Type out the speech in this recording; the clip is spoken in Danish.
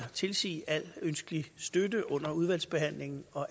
tilsige al ønskelig støtte under udvalgsbehandlingen og